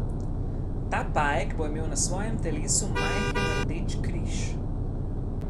Ta pajek bo imel na svojem telesu majhen rdeč križ.